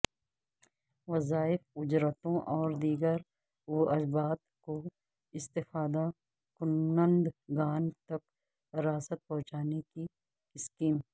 وظائف اجرتوں اور دیگر واجبات کو استفادہ کنندگان تک راست پہنچانے کی اسکیم